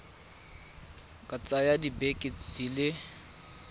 ka tsaya dibeke di le